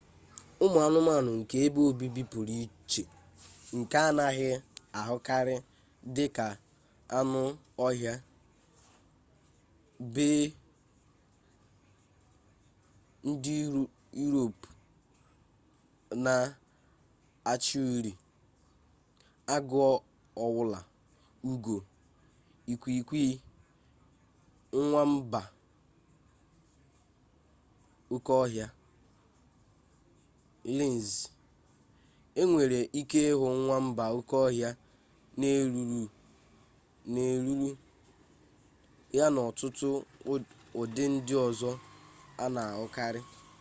ụmụ anụmanụ nke ebe obibi pụrụ iche nke anaghị ahụkarị dị ka anụ ọhịa bea ndị yurop na-acha uri agụ owulu ugo ikwiikwii nwamba oke ọhịa linz e nwere ike ịhụ nwamba oke ọhịa na eruru ya na ọtụtụ ụdị ndị ọzọ a na-ahụkarị